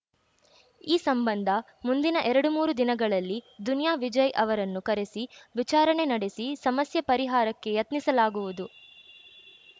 ಈ ಸಂಬಂಧ ಮುಂದಿನ ಎರಡು ಮೂರು ದಿನಗಳಲ್ಲಿ ದುನಿಯಾ ವಿಜಯ್‌ ಅವರನ್ನು ಕರೆಸಿ ವಿಚಾರಣೆ ನಡೆಸಿ ಸಮಸ್ಯೆ ಪರಿಹಾರಕ್ಕೆ ಯತ್ನಿಸಲಾಗುವುದು